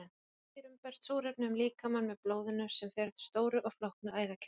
Í hryggdýrum berst súrefni um líkamann með blóðinu sem fer eftir stóru og flóknu æðakerfi.